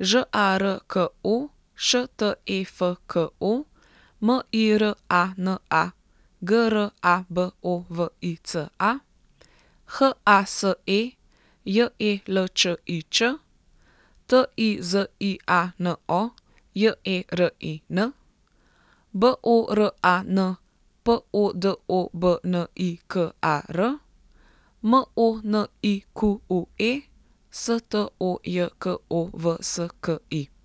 Ž A R K O, Š T E F K O; M I R A N A, G R A B O V I C A; H A S E, J E L Č I Č; T I Z I A N O, J E R I N; B O R A N, P O D O B N I K A R; M O N I Q U E, S T O J K O V S K I.